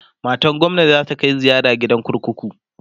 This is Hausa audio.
matan gwamna zata Kai ziyara gidan kurkuku